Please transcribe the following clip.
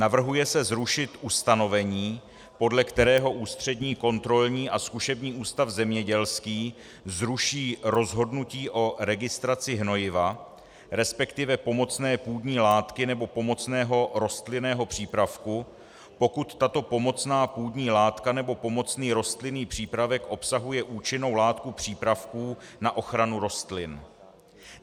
Navrhuje se zrušit ustanovení, podle kterého Ústřední kontrolní a zkušební ústav zemědělský zruší rozhodnutí o registraci hnojiva, respektive pomocné půdní látky nebo pomocného rostlinného přípravku, pokud tato pomocná půdní látka nebo pomocný rostlinný přípravek obsahuje účinnou látku přípravků na ochranu rostlin.